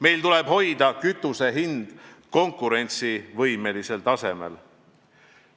Meil tuleb hoida kütuse hind konkurentsivõimelisel tasemel.